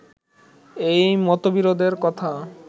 এই মতবিরোধের কথা